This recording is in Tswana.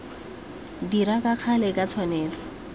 dira ka gale ka tshwanelo